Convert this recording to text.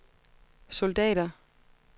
soldater